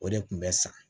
O de kun bɛ san